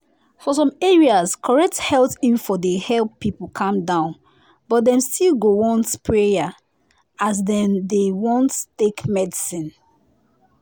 for some areas correct health info dey help people calm down but dem still go want want prayer as dem de take medicine.